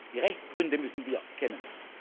die Rechtsgründe müssen wir kennen.